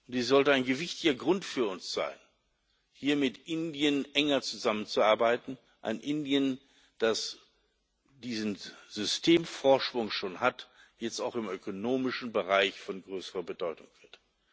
Dies sollte ein gewichtiger Grund für uns sein, hier mit Indien enger zusammenzuarbeiten ein Indien, das diesen Systemvorsprung schon hat und jetzt auch im ökonomischen Bereich von größerer Bedeutung sein wird.